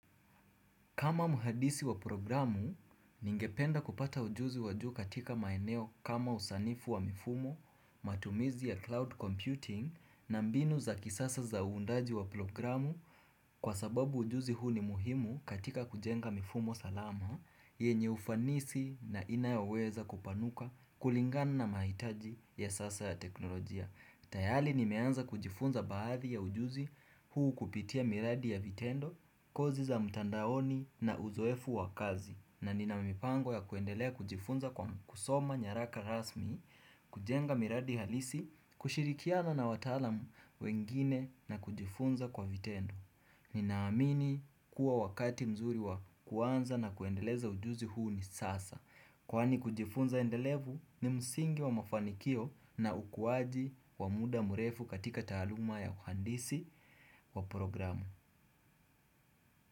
Kama muhadisi wa programu, ningependa kupata ujuzi wa juu katika maeneo kama usanifu wa mifumo, matumizi ya cloud computing na mbinu za kisasa za hundaji wa programu kwa sababu ujuzi huu ni muhimu katika kujenga mifumo salama, yenye ufanisi na inayoweza kupanuka kulingana na mahitaji ya sasa ya teknolojia. Tayali nimeanza kujifunza baadhi ya ujuzi huu kupitia miradi ya vitendo, course za mtandaoni na uzoefu wa kazi. Na ninamipango ya kuendelea kujifunza kwa mkusoma nyaraka rasmi, kujenga miradi halisi, kushirikiana na watalamu wengine na kujifunza kwa vitendo. Ninaamini kuwa wakati mzuri wa kuanza na kuendeleza ujuzi huu ni sasa. Kwani kujifunza endelevu ni msingi wa mafanikio na ukuaji wa muda mrefu katika taaluma ya uhandisi wa programu.